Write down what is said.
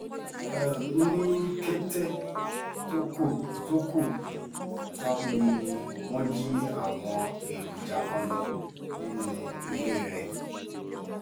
ní kété tó kù tó kù tán ni wọ́n jí àwọn èròjà kan lọ nínú ilé rẹ̀